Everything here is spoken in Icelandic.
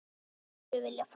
Ég hef aldrei viljað fara.